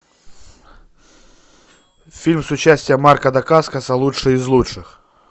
фильм с участием марка дакаскоса лучшие из лучших